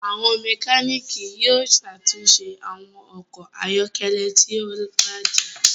Àwọn Mẹkáníìkì yóò ṣàtúnṣe àwọn okò ayọkẹlẹ tí o bàjé